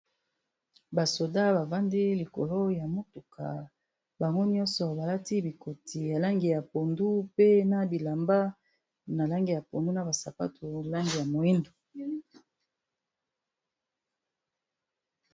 Basoda bafandi likolo ya motuka, bango nyonso balati bikoti ya lange ya pondu, pe na bilamba na lange ya pondu, na basapatu lange ya moindo.